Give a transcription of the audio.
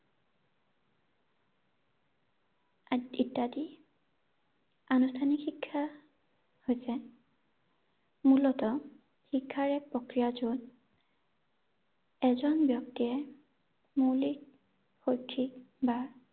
আহ ইত্যাদি ৷ আনুষ্ঠানিক শিক্ষা হৈছে মূলতঃ শিক্ষাৰ এক প্ৰক্ৰিয়া য’ত এজন ব্যক্তিয়ে মৌলিক শৈক্ষিক বা